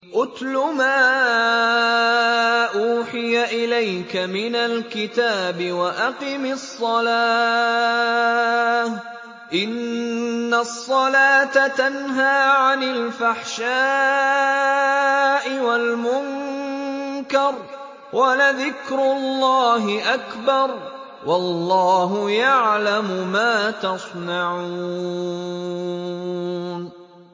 اتْلُ مَا أُوحِيَ إِلَيْكَ مِنَ الْكِتَابِ وَأَقِمِ الصَّلَاةَ ۖ إِنَّ الصَّلَاةَ تَنْهَىٰ عَنِ الْفَحْشَاءِ وَالْمُنكَرِ ۗ وَلَذِكْرُ اللَّهِ أَكْبَرُ ۗ وَاللَّهُ يَعْلَمُ مَا تَصْنَعُونَ